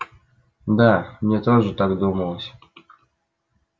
да мне тоже так думалось